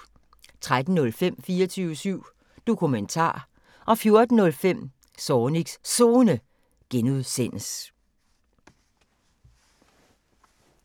13:05: 24syv Dokumentar 14:05: Zornigs Zone (G)